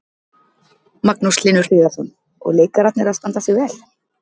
Magnús Hlynur Hreiðarsson: Og leikararnir að standa sig vel?